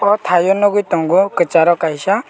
o tai o nogoi tango kasaro kaisa.